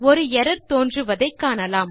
ஒரு எர்ரர் தோன்றுவதை காணலாம்